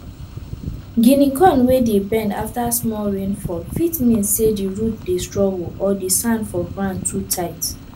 guinea corn wey dey bend after small rain fall fit mean say di root dey struggle or di sand for grand too tight